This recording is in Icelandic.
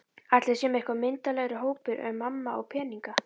Ætli við séum eitthvað myndarlegri hópur ef mamma á peninga?